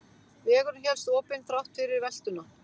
Vegurinn hélst opinn þrátt fyrir veltuna